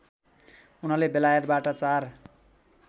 उनले बेलायतबाट चार